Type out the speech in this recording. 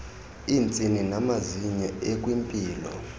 iintsini namazinyo ekwimpilo